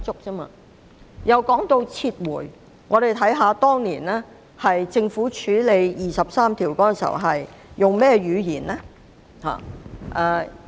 說到撤回，我們看看政府當年處理《基本法》第二十三條時所用的語言。